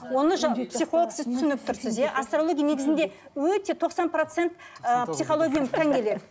оны психолог сіз түсініп тұрсыз иә астрология негізінде өте тоқсан процент ыыы психологияға тән келеді